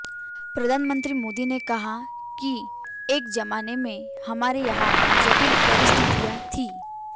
प्रधानमंत्री मोदी ने कहा कि एक जमाने में हमारे यहां जटिल परिस्थितियां थीं